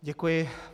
Děkuji.